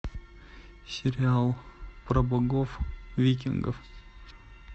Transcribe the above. сериал про богов викингов